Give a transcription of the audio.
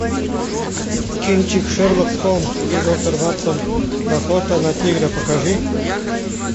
кинчик шерлок холмс и доктор ватсон охота на тигра покажи